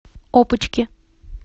опочки